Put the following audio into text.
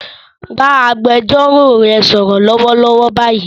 Bá agbẹjọ́rò rẹ sọ̀rọ̀ lọ́wọ́lọ́wọ́ báyìí